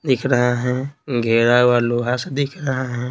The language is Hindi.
दिख रहा है घेरा हुआ लोहा से दिख रहा है।